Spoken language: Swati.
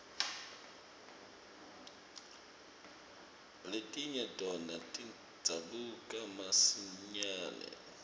letinye tona tidzabuka masinyane